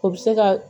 O bɛ se ka